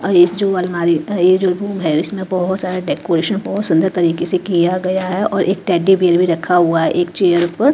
और इस जो अलमारी ये जो है इसमें बहुत सारा डेकोरेशन बहुत सुंदर तरीके से किया गया है और एक टैडी बेयर भी रखा हुआ है एक चेयर पर।